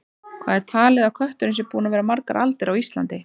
Hvað er talið að kötturinn sé búinn að vera margar aldir á Íslandi?